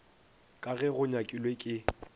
ka ge go nyakilwe ke